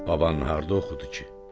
Baba harda oxudu ki?